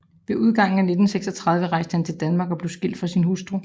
Ved udgangen af 1936 rejste han til Danmark og blev skilt fra sin hustru